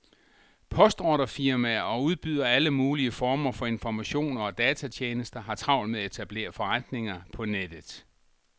Postordrefirmaer og udbydere af alle mulige former for informationer og datatjenester har travlt med at etablere forretninger på nettet.